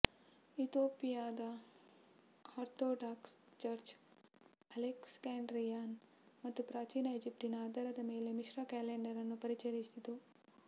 ಇಥಿಯೋಪಿಯಾದ orthodox church Alexandrian ಮತ್ತು ಪ್ರಾಚೀನ ಈಜಿಪ್ಟಿನ ಆಧಾರದ ಮೇಲೆ ಮಿಶ್ರ ಕ್ಯಾಲೆಂಡರ್ ಅನ್ನು ಪರಿಚಯಿಸಿತು